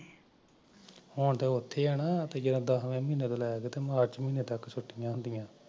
ਹੁਣ ਤਾਂ ਉਥੇ ਐ ਦਸਵੇਂ ਮਹੀਨੇ ਤੋਂ ਲੈ ਕੇ ਅਠਵੇ ਮਹੀਨੇ ਤਕ